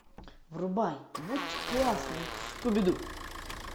врубай будь классным скуби ду